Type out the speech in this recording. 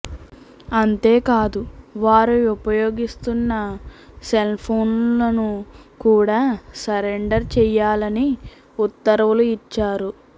అంతే కాదు వారు ఉపయోగిస్తున్న సెల్ఫోన్లను కూడా సరెండర్ చేయాలని ఉత్తర్వులు ఇచ్చారు